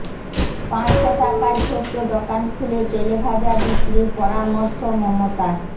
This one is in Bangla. পাঁচশো টাকায় ছোট্ট দোকান খুলে তেলেভাজা বিক্রির পরামর্শ মমতার